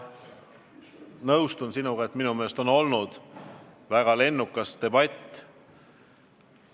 Ma nõustun sinuga, et on olnud väga lennukas debatt.